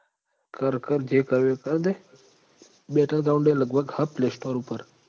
કર કર જે કરવું હોય એ કર તે battle ground અય લગભગ હ play store ઉપર